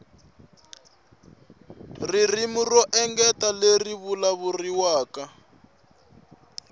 ririmi ro engetela leri vulavuriwaka